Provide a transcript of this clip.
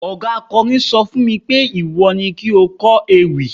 oga akọrin sọ fún mi pé, iwọ ni ki o kó ewi